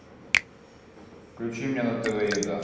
включи мне на тв еда